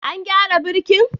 An gyara birkin?